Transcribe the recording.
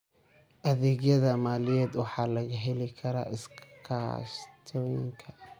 Adeegyada maaliyadeed waxaa laga heli karaa iskaashatooyinka.